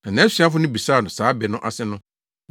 Na nʼasuafo no bisaa no saa bɛ no ase no,